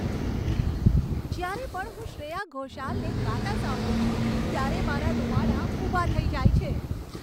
જ્યારે પણ હું શ્રેયા ઘોષાલને ગાતાં સાંભળું છું, ત્યારે મારાં રૂંવાડાં ઊભાં થઈ જાય છે.